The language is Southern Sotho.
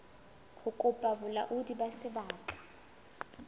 ho kopa bolaodi ba sebaka